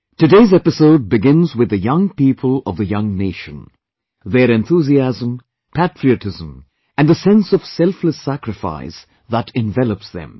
Today's episode begins with the young people of the young nation; their enthusiasm, patriotism and the sense of selfless service that envelops them